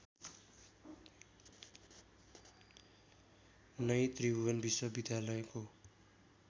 नै त्रिभुवन विश्वविद्यालयको